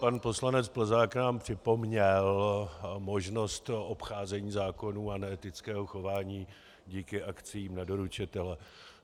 Pan poslanec Plzák nám připomněl možnost obcházení zákonů a neetického chování díky akciím na doručitele.